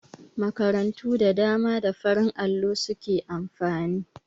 Makarantu da dama da farin allo su ke amfani.